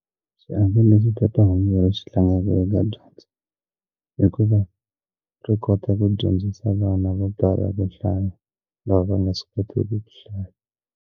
Xiave lexi phephahungu ri xi tlangaka eka dyondzo hikuva ri kota ku dyondzisa vana vo tala ku hlaya lava va nga swi kotiki ku hlaya.